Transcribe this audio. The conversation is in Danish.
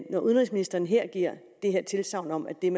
når udenrigsministeren her giver det tilsagn om at det er